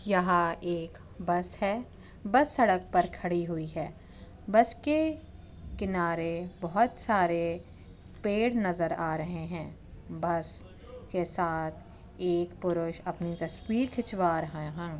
यहा एक बस है बस सड़क पर खड़ी हुई है बस के किनारे बहुत सारे पेड़ नज़र आ रहें हैं बस के साथ एक पुरुष अपनी तस्वीर खिंचवा रहा है।